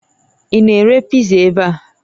Ị na-ere piza ebe a?